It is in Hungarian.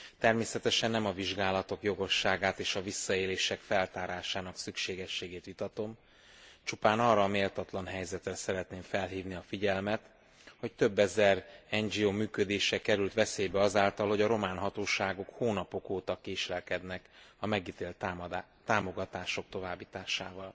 Természetesen nem a vizsgálatok jogosságát és a visszaélések feltárásának szükségességét vitatom, csupán arra a méltatlan helyzetre szeretném felhívni a figyelmet, hogy több ezer NGO működése került veszélybe azáltal, hogy a román hatóságok hónapok óta késlekednek a megítélt támogatások továbbításával.